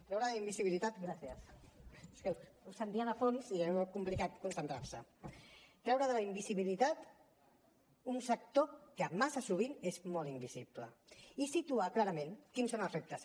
gràcies és que us sentia de fons i era molt complicat concentrar se treure de la invisibilitat un sector que massa sovint és molt invisible i situar clarament quins són els reptes